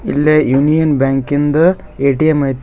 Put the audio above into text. ಇಲ್ಲೇ union bank ಇಂದ ATM ಐತಿ.